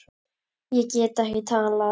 Ég get ekki talað.